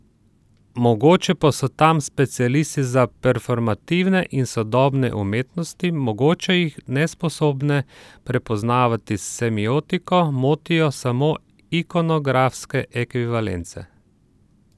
Mogoče pa so tam specialisti za performativne in sodobne umetnosti, mogoče jih, nesposobne prepoznavati semiotiko, motijo samo ikonografske ekvivalence?